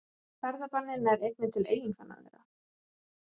Ferðabannið nær einnig til eiginkvenna þeirra